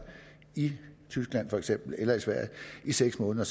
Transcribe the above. i for eksempel tyskland eller i sverige i seks måneder